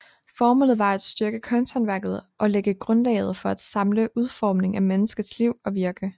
Formålet var at styrke kunsthåndværket og lægge grundlaget for en samlet udformning af menneskets liv og virke